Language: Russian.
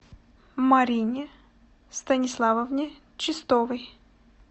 марине станиславовне чистовой